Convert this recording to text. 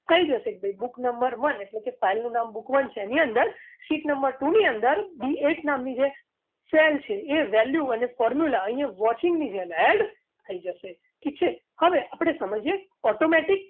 થઈ જશે ભાઈ બુક number one એટલે કે file નું નામ બુક one છે એની અંદર seat number two ની અંદર b at નામની જે sell છે એ value અને formula અહીંયા watching ની જેમ add થઈ જશે ઠીક છે હવે આપણે સમજીએ automatic